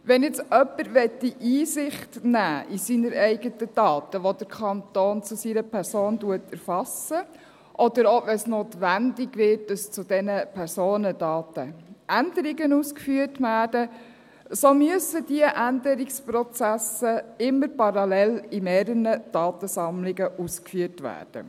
Wenn jetzt jemand Einsicht in seine eigenen Daten, die der Kanton zu einer Person erfasst, nehmen möchte, oder auch, wenn es notwendig wird, dass an diesen Personendaten Änderungen ausgeführt werden, so müssen diese Änderungsprozesse immer parallel in mehreren Datensammlungen ausgeführt werden.